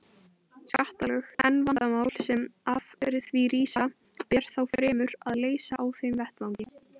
skattalög, en vandamál sem af því rísa ber þá fremur að leysa á þeim vettvangi.